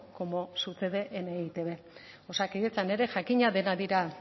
como sucede en e i te be osakidetzan ere jakina denak dira